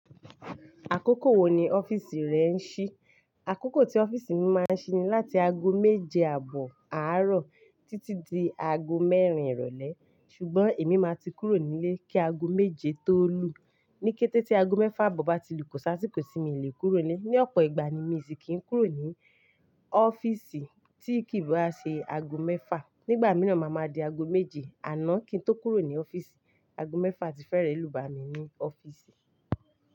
Àkókò wò ní ọ́fíìsì rẹ ń ṣí? Àkókò tí ọ́fíìsì mi máa ń ṣí ni láti ago méje àbọ̀ àárọ̀ títí di ago mẹ́rin ìrọ̀lẹ́. Ṣùgbọ́n èmi má ti kúrò nílé kí ago méje tó lù. Ní kété tí ago mẹ́fà àbọ̀ bá ti lù kọ̀ sí àsìkò sì mí lè kúrò nílé. Ni ọ̀pọ̀ ìgbà ni mi sì kì ń kúrò ní ọ́fíìsì tí kì í bá ṣe ago mẹ́fà. Nígbà mìíràn, màá ma di ago méje àná kí n tó kúrò ní ọ́fíìsì. Ago mẹ́fà ti fẹ́rẹ̀ lù bá mi ní ọ́fíìsì.